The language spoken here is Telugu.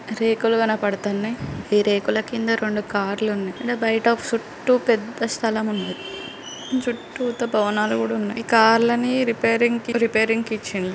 రేకులు కనబడుతున్నాయ్. ఈ రేకుల కింద రెండు కార్ లు ఉన్నాయి. బయట చుట్టూ పెద్ద స్థలం ఉంది. చుట్టుతా భవనాలు కూడా ఉన్నాయ్. ఈ కార్ లని రిపేరింగ్ కి రిపేరింగ్ కి ఇచ్చిండ్రు.